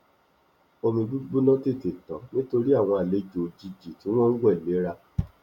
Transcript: omi gbígbóná tètè tán nítorí àwọn àlejò òjìji tí wọn ń wẹ léra